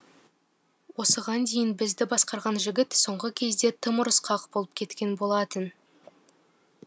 осыған дейін бізді басқарған жігіт соңғы кезде тым ұрысқақ болып кеткен болатын